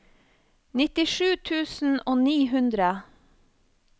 nittisju tusen og ni hundre